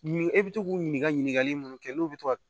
E bɛ to k'u ɲininka ɲininkali mun kɛ n'u bɛ to ka